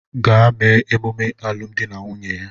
Gaa mee emume alụmdi na nwunye ya!